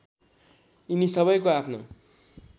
यिनी सबैको आफ्नो